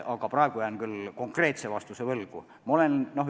Aga praegu jään küll konkreetse vastuse võlgu.